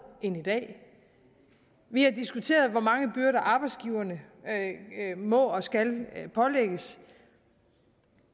end i dag vi har diskuteret hvor mange byrder arbejdsgiverne må og skal pålægges